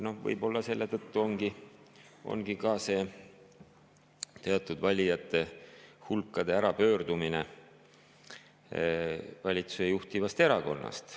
Võib-olla selle tõttu ongi teatud valijate hulk ära pöördunud valitsuse juhtivast erakonnast.